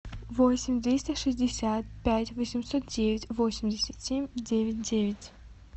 восемь двести шестьдесят пять восемьсот девять восемьдесят семь девять девять